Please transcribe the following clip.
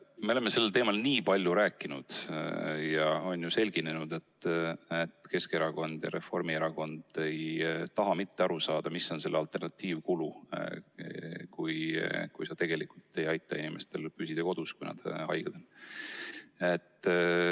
Me oleme sellel teemal nii palju rääkinud ja on selgunud, et Keskerakond ja Reformierakond ei taha mitte aru saada, mis on selle alternatiivkulu, kui me tegelikult ei aita inimestel püsida kodus, kui nad on haiged.